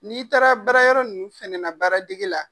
N'i taara bara yɔrɔ ninnu fɛnɛ na baara dege la